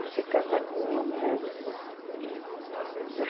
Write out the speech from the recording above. Você casar com uma moça.